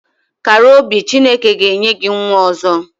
Kàrà obi Chineke ga enye gị nwa ọzọ